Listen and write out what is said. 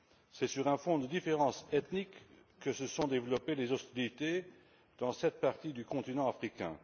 C'est sur un fond de différences ethniques que se sont développées les hostilités dans cette partie du continent africain.